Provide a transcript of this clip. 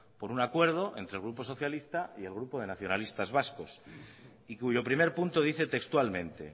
por un acuerdo entre el grupo socialista y el grupo de nacionalistas vasco y cuyo primer punto dice textualmente